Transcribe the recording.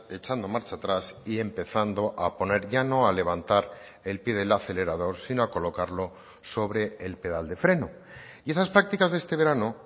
echando marcha atrás y empezando a poner ya no a levantar el pie del acelerador sino a colocarlo sobre el pedal de freno y esas prácticas de este verano